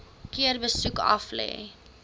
keer besoek aflê